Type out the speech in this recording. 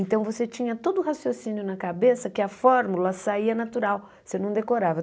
Então você tinha todo o raciocínio na cabeça que a fórmula saía natural, você não decorava.